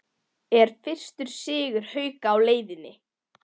ER FYRSTI SIGUR HAUKA Á LEIÐINNI???